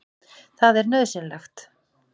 Það er nauðsynlegt.